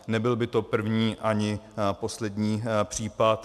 Nebyl by to první ani poslední případ.